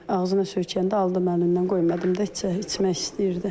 Ağzına söykəyəndə aldım əlindən, qoymadım da içmək istəyirdi.